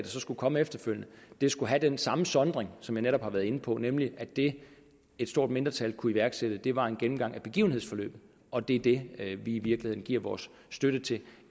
så skulle komme efterfølgende skulle have den samme sondring som jeg netop har været inde på nemlig at det et stort mindretal ville kunne iværksætte var en gennemgang af begivenhedsforløbet og det er det vi i virkeligheden giver vores støtte til